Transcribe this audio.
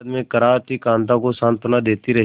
दर्द में कराहती कांता को सांत्वना देती रही